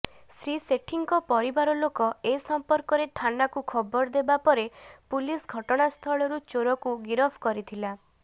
ଶ୍ରୀ ସେଠୀଙ୍କ ପରିବାରଲୋକ ଏ ସଂପର୍କରେ ଥାନାକୁ ଖବର ଦେବା ପରେ ପୁଲିସ ଘଟଣାସ୍ଥଳରୁ ଚୋରକୁ ଗିରଫ କରିଥିଲା